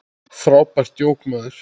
Frábært djók, maður!